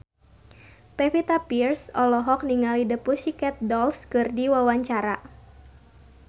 Pevita Pearce olohok ningali The Pussycat Dolls keur diwawancara